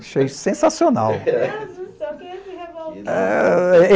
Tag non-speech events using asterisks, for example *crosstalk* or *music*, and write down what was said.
Achei sensacional. *unintelligible*